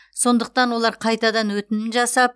сондықтан олар қайтадан өтінім жасап